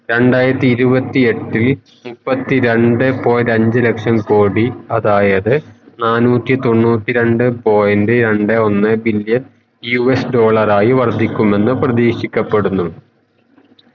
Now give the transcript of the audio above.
രണ്ടായിരത്തിൽ ഇരുവത്തി എട്ടിൽ മുപ്പത്തി രണ്ടേ point അഞ്ചു ലക്ഷം കോടി അതായത് നാന്നൂറ്റി തൊണ്ണൂറ്റി രണ്ടേ point രണ്ടേ ഒന്നേ billion US ഡോളറായി വര്ധിക്കുമെന്നു പ്രദീക്ഷിക്കപെടുന്നു